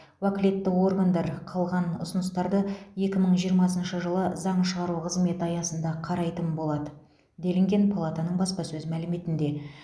уәкілетті органдар қалған ұсыныстарды екі мың жиырмасыншы жылы заң шығару қызметі аясында қарайтын болады делінген палатаның баспасөз мәліметінде